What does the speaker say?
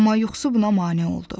Amma yuxusu buna mane oldu.